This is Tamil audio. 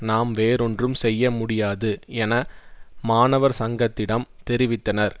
நாம் வேறொன்றும் செய்ய முடியாது என மாணவர் சங்கத்திடம் தெரிவித்தனர்